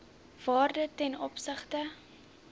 waarde ten opsigte